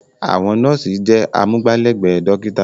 Àwọn nọ́ọ̀sì jẹ́ amúgbálẹ́gbẹ̀ẹ́ dọ́kítà.